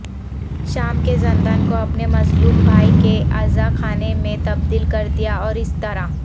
شام کےزندان کو اپنے مظلوم بھائی کے عزاخانے میں تبدیل کردیا اور اس طرح